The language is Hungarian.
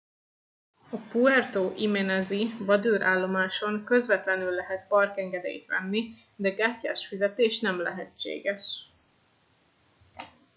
a puerto jiménez i vadőr állomáson közvetlenül lehet parkengedélyt venni de kártyás fizetés nem lehetséges